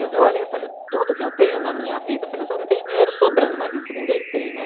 Olha, eu falei, tudo que eu tenho na minha vida, eu falei, eu só não tenho dinheiro sobrando, mas isso ninguém tem, né?